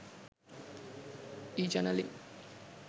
e channeling